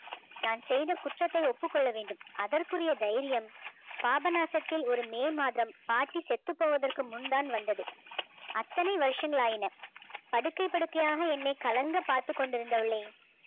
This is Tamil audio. நான் செய்த குற்றத்தை ஒப்புக்கொள்ள வேண்டும் அதற்குரிய தைரியம் பாபநாசத்தில் ஒரு மே மாதம் பாட்டி செத்து போவதற்கு முன்தான் வந்தது அத்தனை வருஷங்கள் ஆகின படுக்கை படுக்கையாக என்னை கலங்க பார்த்துக் கொண்டிருந்தவளை